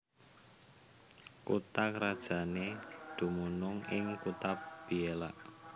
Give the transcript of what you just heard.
Kutha krajané dumunung ing kutha Biella